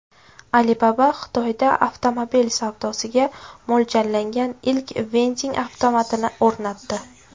Alibaba Xitoyda avtomobil savdosiga mo‘ljallangan ilk vending avtomatini o‘rnatdi.